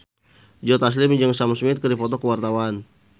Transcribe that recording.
Joe Taslim jeung Sam Smith keur dipoto ku wartawan